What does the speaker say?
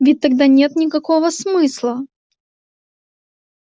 ведь тогда нет никакого смысла